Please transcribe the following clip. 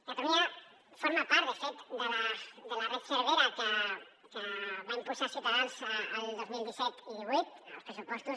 catalunya forma part de fet de la red cervera que va impulsar ciutadans el dos mil disset i divuit als pressupostos